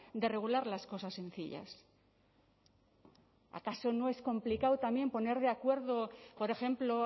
de regular las cosas sencillas acaso no es complicado también poner de acuerdo por ejemplo